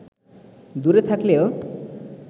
দূরে থাকলেও